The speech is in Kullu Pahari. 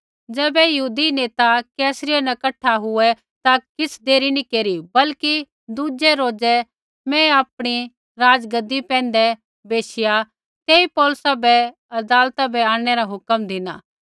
ज़ैबै यहूदी नेता कैसरिया न कठा हुऐ ता किछ़ देर नी केरी बल्कि दूज़ै रोज़ै मैं आपणी राज़गद्दी पैंधै बैशिया तेई पौलुसा बै अदालता बै आंणनै रा हुक्मा धिना